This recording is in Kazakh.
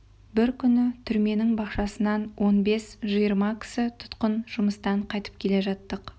бір күні түрменің бақшасынан он бес жиырма кісі тұтқын жұмыстан қайтып келе жаттық